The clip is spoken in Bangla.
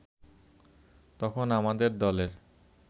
তখন আমাদের দলে